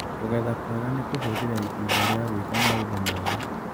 Kũgetha kwega nĩ kuhũthĩra itinga rĩa gwĩka maũndũ mothe